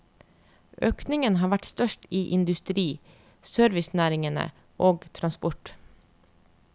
Økningen har vært størst i industri, servicenæringene og transport.